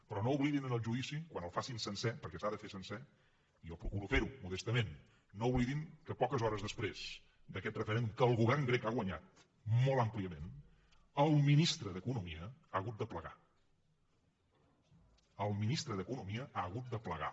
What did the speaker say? però no oblidin en el judici quan el facin sencer perquè s’ha de fer sencer jo procuro fer ho modestament no oblidin que poques hores després d’aquest referèndum que el govern grec ha guanyat molt àmpliament el ministre d’economia ha hagut de plegar el ministre d’economia ha hagut de plegar